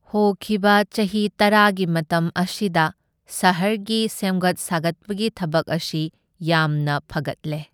ꯍꯣꯈꯤꯕ ꯆꯍꯤ ꯇꯔꯥꯒꯤ ꯃꯇꯝ ꯑꯁꯤꯗ ꯁꯍꯔꯒꯤ ꯁꯦꯝꯒꯠ ꯁꯥꯒꯠꯄꯒꯤ ꯊꯕꯛ ꯑꯁꯤ ꯌꯥꯝꯅ ꯐꯒꯠꯂꯦ꯫